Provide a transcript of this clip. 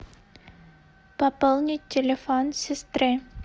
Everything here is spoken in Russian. пополнить телефон сестры